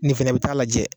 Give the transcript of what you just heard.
Nin fɛnɛ bɛ taa lajɛ